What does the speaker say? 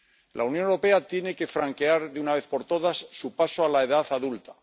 La Unión Europea tiene que franquear de una vez por todas su paso a la edad adulta.